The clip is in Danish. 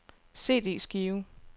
CD-skive